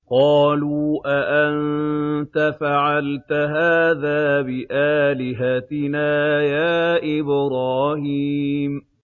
قَالُوا أَأَنتَ فَعَلْتَ هَٰذَا بِآلِهَتِنَا يَا إِبْرَاهِيمُ